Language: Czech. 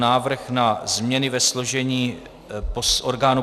Návrh na změny ve složení orgánů